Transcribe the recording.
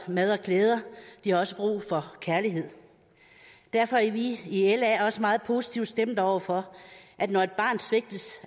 mad og klæder de har også brug for kærlighed derfor er vi i la også meget positivt stemt over for at når et barn svigtes